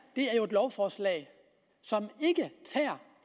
er jo et lovforslag som